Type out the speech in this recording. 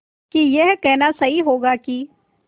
कि यह कहना सही होगा कि